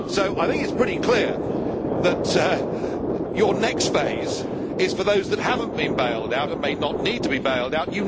It is pretty clear that your next phase is for those that have not been bailed out and may not need to be bailed out.